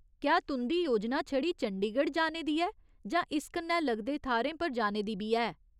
क्या तुं'दी योजना छड़ी चंडीगढ़ जाने दी ऐ जां इस कन्नै लगदे थाह्‌रें पर जाने दी बी ऐ ?